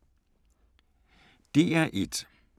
DR1